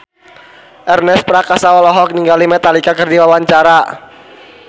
Ernest Prakasa olohok ningali Metallica keur diwawancara